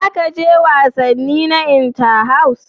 Za ka je wasanni na Inter-house?